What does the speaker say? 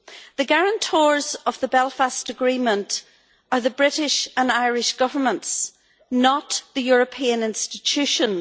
The guarantors of the Belfast Agreement are the British and Irish Governments, not the European institutions.